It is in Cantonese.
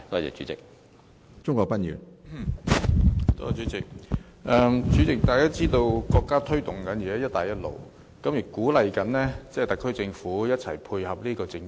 主席，大家知道國家現在推動"一帶一路"，亦鼓勵特區政府配合這政策。